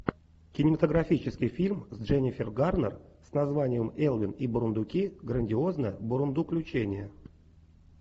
кинематографический фильм с дженнифер гарнер с названием элвин и бурундуки грандиозное бурундуключение